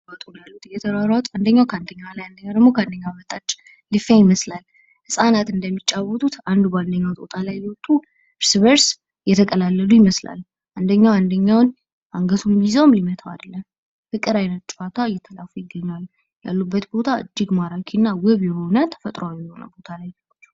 እየተሯሯጡ ነው የሚታዩት ፤ የፍቅር አይነት ጨዋታ እንደ ህጻን ልጅ እየተጫወቱ ነው። ያሉበት ቦታ በጣም የሚያምር ነው።